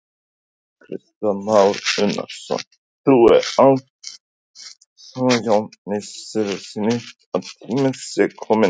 Kristján Már Unnarsson: Þú ert algjörlega ósammála Jóni Sigurðssyni, að tíminn sé kominn núna?